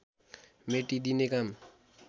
मेटिदिने काम